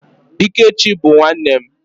Ikechi bụ nwanne m.